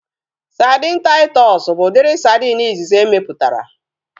Sadin Taịtọs bụ udiri sadin izizi emeputara